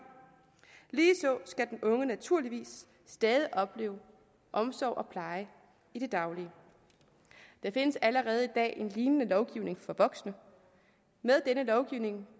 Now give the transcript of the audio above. ligeså skal den unge naturligvis stadig opleve omsorg og pleje i det daglige der findes allerede i dag en lignende lovgivning for voksne med denne lovgivning